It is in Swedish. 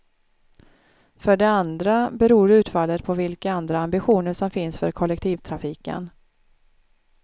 För det andra beror utfallet på vilka andra ambitioner som finns för kollektivtrafiken.